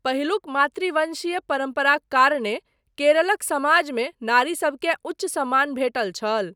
पहिलुक मातृवंशीय परम्पराक कारणेँ केरलक समाजमे नारी सबकेँ उच्च सम्मान भेटल छल।